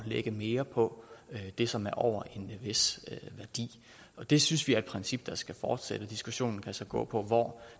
lægge mere på det som er over en vis værdi og det synes vi er et princip der skal fortsætte diskussionen kan så gå på hvor